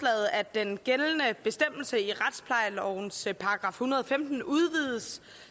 den gældende bestemmelse i retsplejelovens § en hundrede og femten udvides